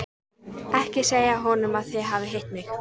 Ekki segja honum að þið hafið hitt mig.